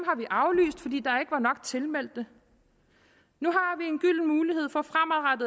i der ikke var nok tilmeldte nu